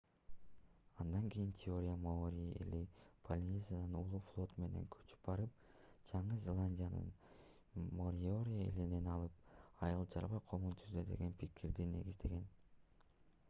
андан кийин теория маори эли полинезиядан улуу флот менен көчүп барып жаңы зеландияны мориори элинен алып айыл-чарба коомун түздү деген пикирди негиздеген